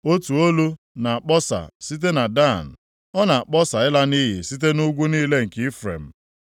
Otu olu na-akpọsa site na Dan, ọ na-akpọsa ịla nʼiyi site nʼugwu niile nke Ifrem.